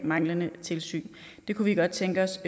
manglende tilsyn det kunne vi godt tænke os